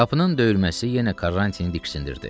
Qapının döyülməsi yenə Karrantini diksindirdi.